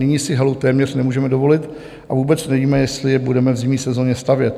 Nyní si halu téměř nemůžeme dovolit a vůbec nevíme, jestli ji budeme v zimní sezoně stavět.